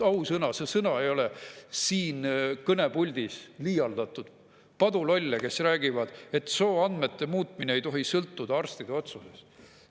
Ausõna, see sõna ei ole siin kõnepuldis liialdatud – padulolle, kes räägivad, et sooandmete muutmine ei tohi sõltuda arstide otsusest.